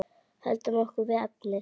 Höldum okkur við efnið.